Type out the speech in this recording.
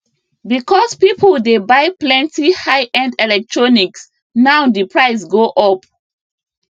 because people dey buy plenty highend electronics now di price go up